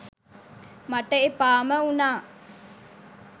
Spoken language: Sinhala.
මට එපාම වුනා